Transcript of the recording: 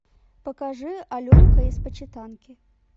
покажи аленка из почитанки